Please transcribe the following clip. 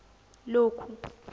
lokhu